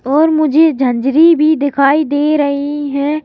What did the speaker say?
और मुझे झंझरी भी दिखाई दे रही है ।